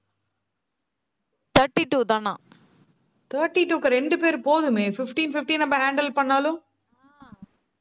thirty two தானா thirty two க்கு ரெண்டு பேர் போதுமே, fifteen, fifteen நம்ம handle பண்ணாலும்.